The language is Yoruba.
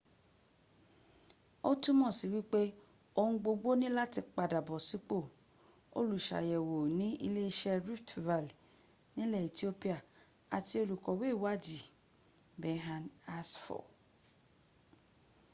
ó túmọ̀sí wípé ohun gbogbo ní láti padàbọ̀ sípò olùsàyẹ̀wò ní iléeṣẹ́ rift valle nilẹ̀ ethiopia àti olùkọ̀we ìwáàdí berhane asfaw